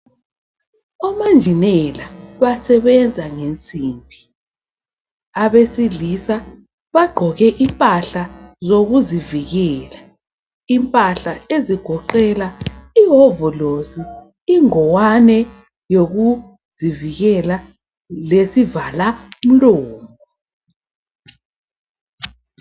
Omanjinela basebenza ngensimbi. Abesilisa bagqoke impahla zokuzivikela. Impahla ezigoqela iwovolosi, ingowane yokuzivikela, lesivala mlomo.